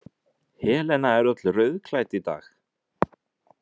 Helena er öll rauðklædd í dag.